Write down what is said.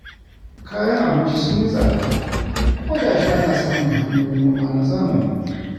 Kayan abinci sun yi tsada, kuma ga shi ana samun hanyoyin noma na zamani.